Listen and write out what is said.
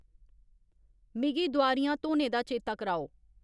मिगी दोआरियां धोने दा चेता कराओ